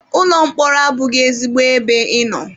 Ụlọ mkpọrọ abụghị ezigbo ebe ịnọ.